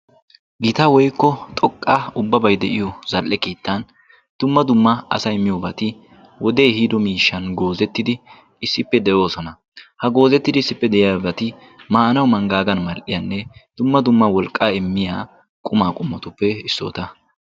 gita woikko xoqqa ubbabai de7iyo zal77e kiittan tumma dumma asai miyobati wodee hiido miishshan goozettidi issippe de7oosona. ha goozettidi issippe de7iyaabati maanawu manggaagan mal7iyaanne dumma dumma wolqqaa immiya qumaa qummatuppe issoota.